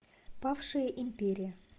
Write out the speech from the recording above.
павшая империя